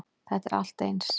Þetta er allt eins.